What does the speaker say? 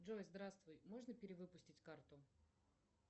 джой здравствуй можно перевыпустить карту